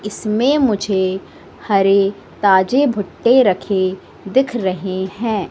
इसमें मुझे हरे ताजे भुट्टे रखे दिख रहे है।